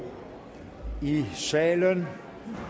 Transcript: i salen